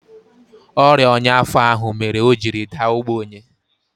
Ọrịa ọnya afọ ahụ mere o jiri daa ogbenye